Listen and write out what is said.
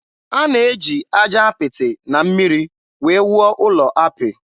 A na-eji aja apịtị na mmiri wee wuo ụlọ apị.